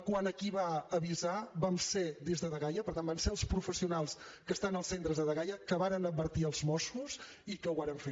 quant a qui va avisar va ser des de dgaia per tant van ser els professionals que estan als centres de dgaia que varen advertir els mossos i que ho varen fer